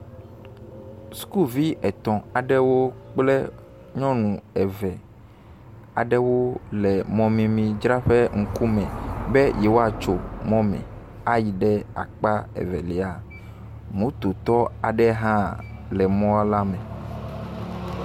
Skuvi etɔ̃ aɖewo kple nyɔnu eve aɖewo le mɔmemidzraƒe ŋkume be yewoatso mɔ me ayi ɖe akpa evelia, mototɔ aɖe hã le mɔ la me.